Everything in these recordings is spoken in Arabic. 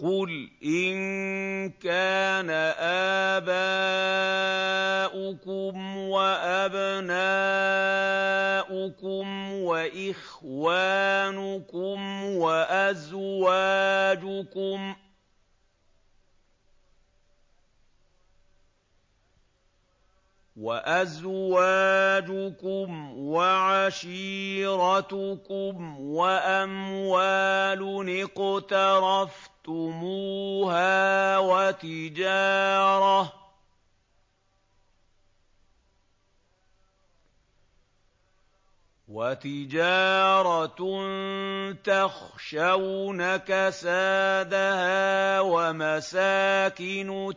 قُلْ إِن كَانَ آبَاؤُكُمْ وَأَبْنَاؤُكُمْ وَإِخْوَانُكُمْ وَأَزْوَاجُكُمْ وَعَشِيرَتُكُمْ وَأَمْوَالٌ اقْتَرَفْتُمُوهَا وَتِجَارَةٌ تَخْشَوْنَ كَسَادَهَا وَمَسَاكِنُ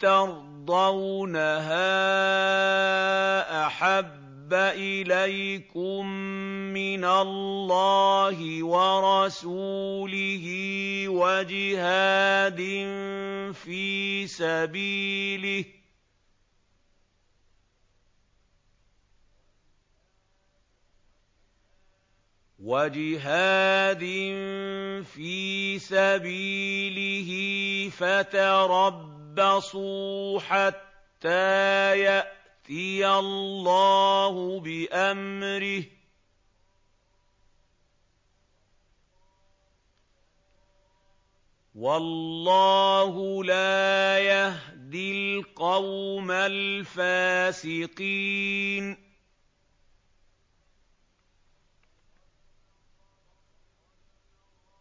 تَرْضَوْنَهَا أَحَبَّ إِلَيْكُم مِّنَ اللَّهِ وَرَسُولِهِ وَجِهَادٍ فِي سَبِيلِهِ فَتَرَبَّصُوا حَتَّىٰ يَأْتِيَ اللَّهُ بِأَمْرِهِ ۗ وَاللَّهُ لَا يَهْدِي الْقَوْمَ الْفَاسِقِينَ